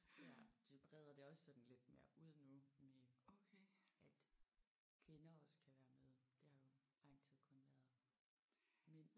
Ja de breder det også sådan lidt mere ud nu med at kvinder også kan være med. Det har jo i lang tid kun været mænd